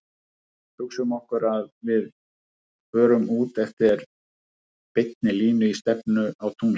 Hugsum okkur að við förum út eftir beinni línu í stefnu á tunglið.